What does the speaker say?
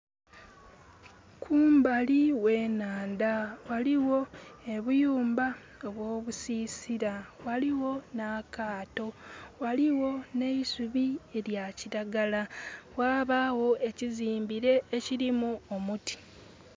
Kumbali gh'enhandha ghaligho obuyumba obw'obusisira, ghaligho n'akaato, ghaligho n'eisubi elya kiragala, ghabaagho ekizimbire ekirimu omuti.